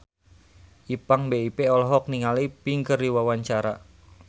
Ipank BIP olohok ningali Pink keur diwawancara